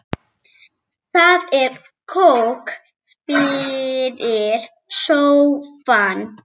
Það er kók fyrir sófann.